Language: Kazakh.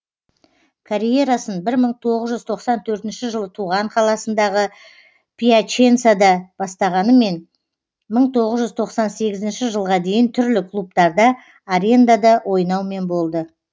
карьерасын бір мың тоғыз жүз тоқсан төртінші жылы туған қаласындағы пьяченсада бастағанымен мың тоғыз жүз тоқсан сегізінші жылға дейін түрлі клубтарда арендада ойнаумен болды